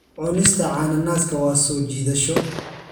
Cunista cananaaska waa soo jiidasho.